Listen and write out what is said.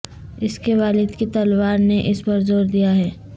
اس کے والد کی تلوار نے اس پر زور دیا ہے